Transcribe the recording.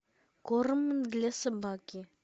корм для собаки